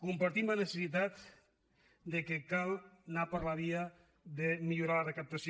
compartim la necessitat que cal anar per la via de mi·llorar la recaptació